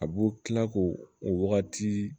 A b'o kila k'o o wagati